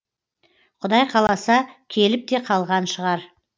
құдай қаласа келіп те қалған шығар